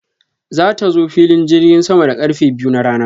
Za ta zo filin jirgin sama da karfe biyu na rana.